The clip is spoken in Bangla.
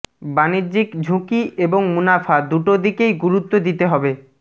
বাণিজ্যিক ঝুঁকি এবং মুনাফা দুটো দিকেই গুরুত্ব দিতে হবে